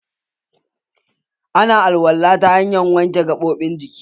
Ana alwala ta hanyan wanke gaɓoɓin jiki.